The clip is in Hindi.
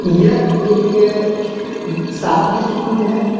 यह एक शादी शूज है।